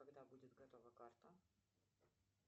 когда будет готова карта